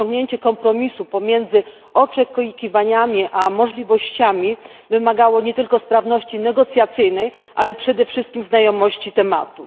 Osiągnięcie kompromisu pomiędzy oczekiwaniami a możliwościami wymagało nie tylko sprawności negocjacyjnej, ale przede wszystkim znajomości tematu.